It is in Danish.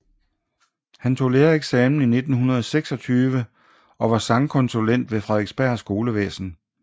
Han tog lærereksamen i 1926 og var sangkonsulent ved Frederiksberg Skolevæsen